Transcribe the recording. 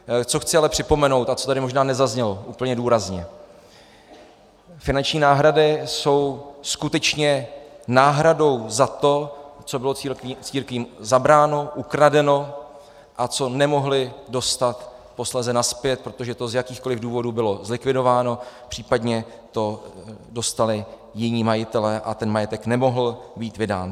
Co chci ale připomenout a co tady možná nezaznělo úplně důrazně, finanční náhrady jsou skutečně náhradou za to, co bylo církvím zabráno, ukradeno a co nemohly dostat posléze nazpět, protože to z jakýchkoliv důvodů bylo zlikvidováno, případně to dostali jiní majitelé a ten majetek nemohl být vydán.